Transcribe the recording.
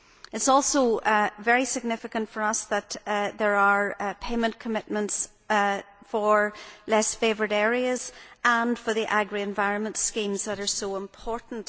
It is also very significant for us that there are payment commitments for less favoured areas and for the agri environment schemes that are so important.